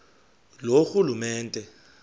loorhulumente